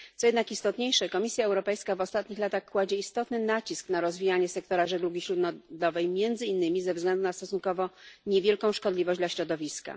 Co jednak istotniejsze, Komisja Europejska w ostatnich latach kładzie istotny nacisk na rozwijanie sektora żeglugi śródlądowej, między innymi ze względu na stosunkowo niewielką szkodliwość dla środowiska.